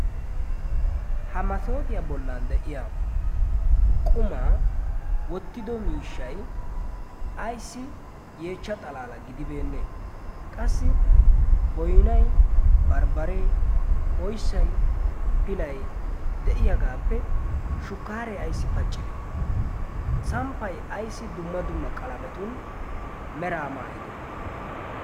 ha masoofiyaa bollan de7iya qumaa wottido miishshay ayssi yeechcha xalaala gidibeenne? qassi boynnay, barbbaree oyssay pilay de7iyaagaappe shukkaaree ayssi paccide samppay ayssi dumma dumma qalametun meraa maayide?